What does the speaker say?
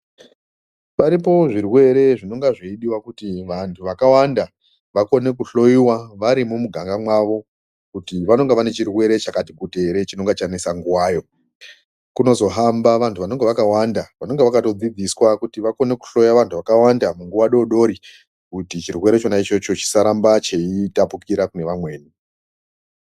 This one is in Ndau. Paripo zvirwere zvinonga zvei diwa kuti vantu vakawanda vakone ku hloyiwa varimo mu ganga mwavo kuti vanonga vane chirwere chakati kuti ere chinonga chanesa nguva yo kunozo hamba vantu vanenge vaka wanda vanonga vakato dzidziswa kuti vakone ku hloya vantu vakawanda mu nguva dodori kuti chirwere chona ichocho chisa ramba chei tapukira kune vamweni vedu.